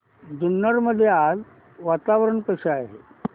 जुन्नर मध्ये आज वातावरण कसे आहे